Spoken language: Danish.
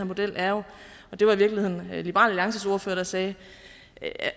model jo er og det var i virkeligheden liberal alliances ordfører der sagde